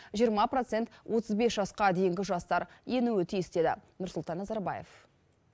жиырма процент отыз бес жасқа дейінгі жастар енуі тиіс деді нұрсұлтан назарбаев